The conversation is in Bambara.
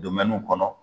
kɔnɔ